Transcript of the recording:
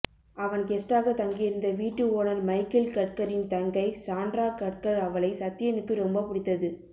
அவன் கெஸ்டாக தங்கியிருந்த வீட்டு ஓனர் மைக்கேல் கட்கரின் தங்கை சான்ட்ரா கட்கர் அவளை சத்யனுக்கு ரொம்ப பிடித்தது